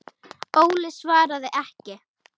Óli svaraði ekki.